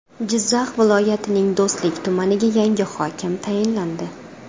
Jizzax viloyatining Do‘stlik tumaniga yangi hokim tayinlandi.